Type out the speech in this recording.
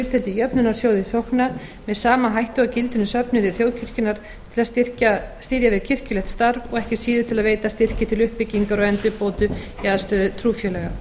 hlutdeild í jöfnunarsjóði sókna með sama hætti og gildir um söfnuði þjóðkirkjunnar til að styðja við kirkjulegt starf og ekki síður til að veita styrki til uppbyggingar og endurbóta í aðstöðu trúfélaga